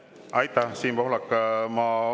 Aitäh, Siim Pohlak!